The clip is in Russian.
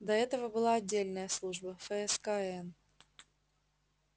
до этого была отдельная служба фскн